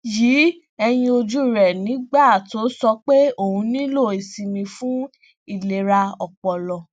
yi eyin oju re nígbà tó sọ pé òun nílò ìsinmi fún ìlera ọpọlọ